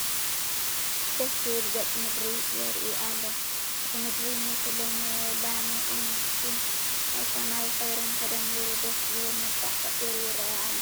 ደስ ዝብል ገፀ ምድሪ ይርአ ኣሎ፡፡ እቲ ምድሪ ምስ ልምላሜኡን ምስቲ ናይ ሰማይ ሕብርን ተደሚሩ ደስ ዝብል መልክዕ ፈጢሩ ይርአ ኣሎ፡፡